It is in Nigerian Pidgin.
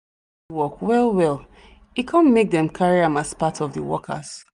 work well well e come make them carry am as part of the workers